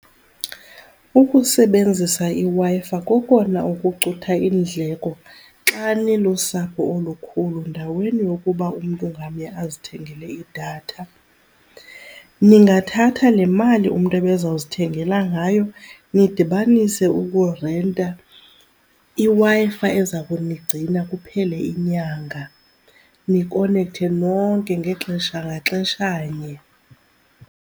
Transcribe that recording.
Ukusebenzisa iWi-Fi kokona okucutha iindleko xa nilusapho olukhulu ndaweni yokuba umntu ngamnye azithengele idatha. Ningathatha le mali umntu ebeza kuzithengela ngayo nidibanise ukurenta iWi-Fi eza kunigcina kuphele inyanga, nikonekthe nonke ngexesha, ngaxeshanye.